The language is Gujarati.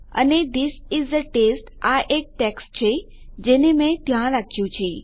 અને થિસ ઇસ એ ટેસ્ટ આ એ ટેક્સ્ટ છે જેને મેં ત્યાં રાખ્યું છે